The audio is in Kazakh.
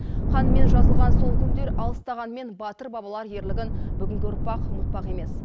қанмен жазылған сол күндер алыстағанмен батыр бабалар ерлігін бүгінгі ұрпақ ұмытпақ емес